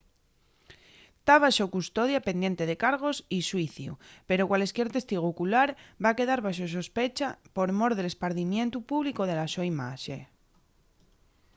ta baxo custodia pendiente de cargos y xuiciu pero cualesquier testigu ocular va quedar baxo sospecha por mor del espardimientu públicu de la so imaxe